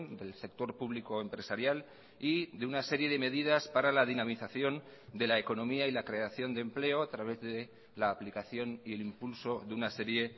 del sector público empresarial y de una serie de medidas para la dinamización de la economía y la creación de empleo a través de la aplicación y el impulso de una serie